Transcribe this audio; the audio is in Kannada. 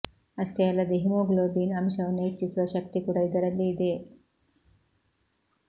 ಅಷ್ಟೇ ಅಲ್ಲದೆ ಹಿಮೋಗ್ಲೋಬಿನ್ ಅಂಶವನ್ನು ಹೆಚ್ಚಿಸುವ ಶಕ್ತಿ ಕೂಡ ಇದರಲ್ಲಿ ಇದೆ